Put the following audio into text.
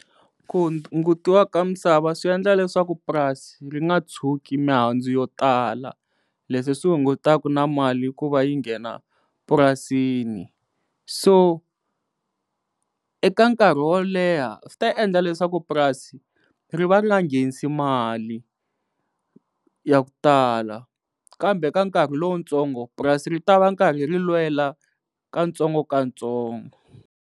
Ku hungutiwa ka misava swi endla leswaku purasi ri nga tshuki mihandzu yo tala leswi swi hungutaka na mali ku va yi nghena purasini so eka nkarhi wo leha swi ta endla leswaku purasi ri va ri nga nghenisi mali ya ku tala kambe ka nkarhi lowutsongo purasi ri ta va nkarhi ri lwela ka ntsongo ka ntsongo.